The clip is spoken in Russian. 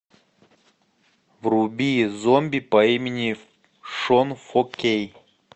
вруби зомби по имени шон фо кей